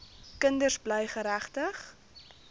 kinders bly geregtig